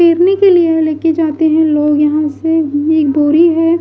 इसी के लिए यह लेके जाते हैं लोग यहां से एक बोरी है।